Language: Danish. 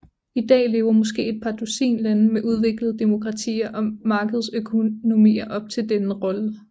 I dag lever måske et par dusin lande med udviklede demokratier og markedsøkonomier op til denne rolle